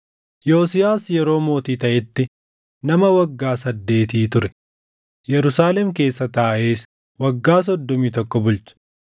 Yosiyaas yeroo mootii taʼetti nama waggaa saddeetii ture; Yerusaalem keessa taaʼees waggaa soddomii tokko bulche.